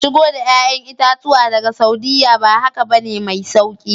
Shigo da 'ya'yan itatuwa daga Saudiyya, ba haka ba ne mai sauki